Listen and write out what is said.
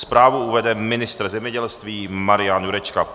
Zprávu uvede ministr zemědělství Marian Jurečka.